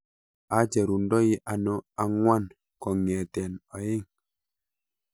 Acherundoi ano ang'wan kong'eten oeng'